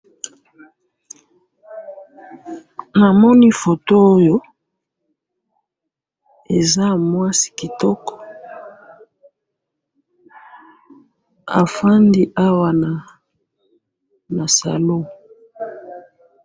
Namoni photo Oyo, eza ya mwasi kitoko. Afandi awa na salon.